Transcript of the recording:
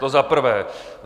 To za prvé.